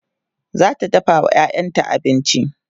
zata dafawa ƴaƴanta abinci